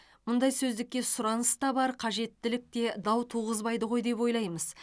мұндай сөздікке сұраныс та бар қажеттілік те дау туғызбайды ғой деп ойлаймыз